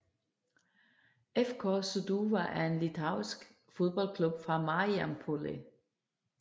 FK Sūduva er en litauisk fodboldklub fra Marijampolė